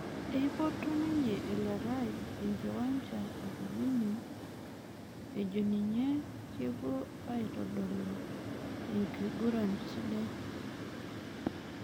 Epoito ninje elerai enkiwanja ekibini ejo ninje peepuo aitodolu enkiguran sidai.